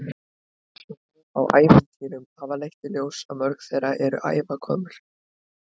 Rannsóknir á ævintýrum hafa leitt í ljós að mörg þeirra eru ævagömul.